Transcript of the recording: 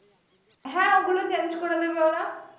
হ্যা ওগুলো change করে দিবে ওরা।